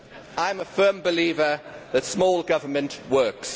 I am a firm believer that small government works.